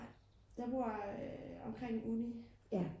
nej jeg bor omkring uni